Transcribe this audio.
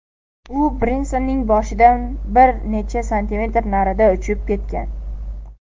U Brensonning boshidan bir necha santimetr naridan uchib ketgan.